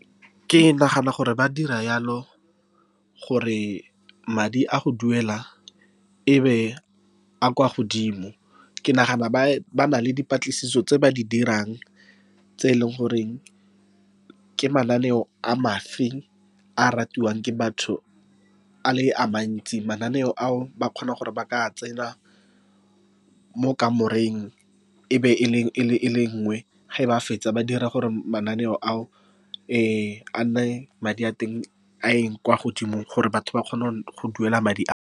Ke nagana gore ba dira jalo, gore madi a go duela e be a a kwa godimo. Ke nagana bana le dipatlisiso tse ba di dirang, tse eleng gore ke mananeo a a ratiwang ke batho, a le a mantsi. Mananeo ao, ba kgona gore ba ka tsena mo kamoreng, e be e le nngwe. Ge ba fetsa, ba dira gore mananeo ao a nne, madi a teng a kwa godimo, gore batho ba kgone go duela madi a.